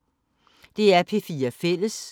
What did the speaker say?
DR P4 Fælles